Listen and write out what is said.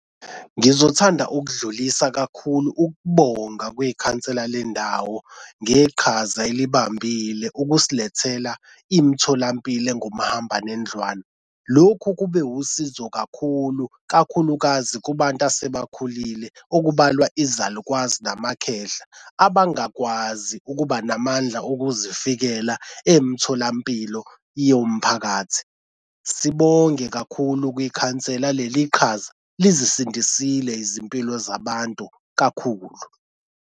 Ngizothanda ukudlulisa kakhulu ukubonga kwikhansela lendawo ngeqhaza elibambile ukusilethela imitholampilo engomahambanendlwana. Lokhu kube wusizo kakhulu, kakhulukazi kubantu asebakhulile okubalwa izalukazi namakhehla abangakwazi ukuba namandla okuzifikela emtholampilo yomphakathi. Sibonge kakhulu kwikhansela leli qhaza lizisindisile izimpilo zabantu kakhulu.